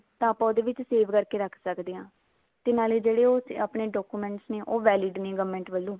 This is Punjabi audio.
ਤਾਂ ਆਪਾਂ ਉਹਦੇ ਵਿੱਚ save ਕਰਕੇ ਰੱਖ ਸਕਦੇ ਹਾਂ ਤੇ ਜਿਹੜੇ ਆਪਣੇ documents ਨੇ ਉਹ valid ਨੇ government ਵੱਲੋਂ